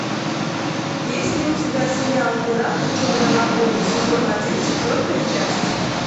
есть ли у тебя сериал пираты черной лагуны сезон один четвертая часть